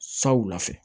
Saw fɛ